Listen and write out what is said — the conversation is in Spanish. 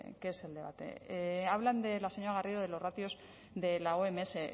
qué es el debate habla la señora garrido de los ratios de la oms